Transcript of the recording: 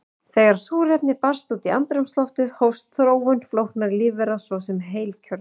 Þegar súrefni barst út í andrúmsloftið hófst þróun flóknari lífvera, svo sem heilkjörnunga.